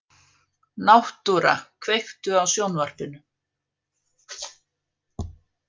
Náttúra, kveiktu á sjónvarpinu.